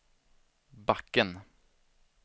backen